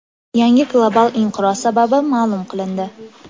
Yangi global inqiroz sababi ma’lum qilindi.